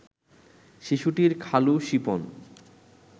শিশুটির খালু শিপন